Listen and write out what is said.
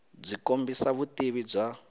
byi kombisa vutivi bya